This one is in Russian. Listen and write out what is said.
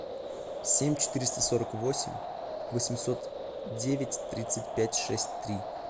семь четыреста сорок восемь восемьсот девять тридцать пять шесть три